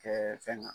Kɛ fɛn kan